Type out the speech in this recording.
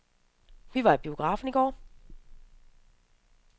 Vi var i biografen i går.